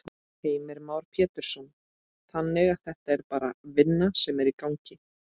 Heimir Már Pétursson: Þannig að þetta er bara vinna sem er í gangi?